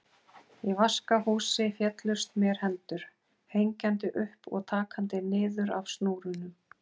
Í vaskahúsi féllust mér hendur, hengjandi upp og takandi niður af snúrunum.